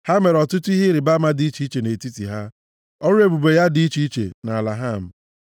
Ha mere ọtụtụ ihe ịrịbama dị iche iche nʼetiti ha, ọrụ ebube ya dị iche iche nʼala Ham.